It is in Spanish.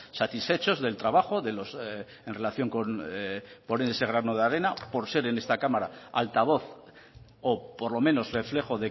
satisfechos del trabajo en relación con poner ese grano de arena por ser en esta cámara altavoz o por lo menos reflejo